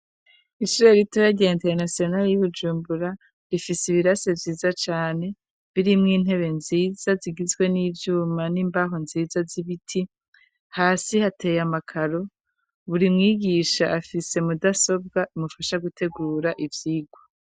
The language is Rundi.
Isire ritoya rya internasionali y'bujumbura rifise ibirase vyiza cane birimwo intebe nziza zigizwe n'ivyuma n'imbaho nziza z'ibiti hasi hateye amakaro buri mwigisha afise mudasobwa imufasha gutegura ivyigwa.